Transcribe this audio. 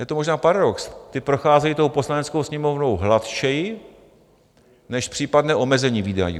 Je to možná paradox, ta procházejí tou Poslaneckou sněmovnou hladčeji než případné omezení výdajů.